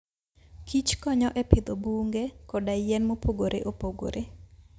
kich konyo e pidho bunge koda yien mopogore opogore.